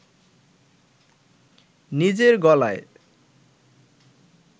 নিজের গলায়